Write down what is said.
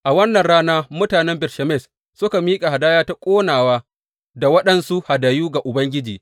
A wannan rana mutanen Bet Shemesh suka miƙa hadaya ta ƙonawa da waɗansu hadayu ga Ubangiji.